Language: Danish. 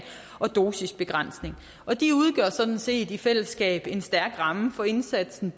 og dosisbegrænsning og de udgør sådan set i fællesskab en stærk ramme for indsatsen